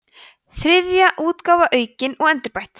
þriðja útgáfa aukin og endurbætt